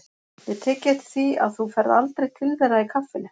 Ég hef tekið eftir því að þú ferð aldrei til þeirra í kaffinu.